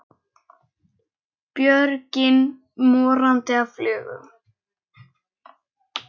Björgin morandi af fuglum.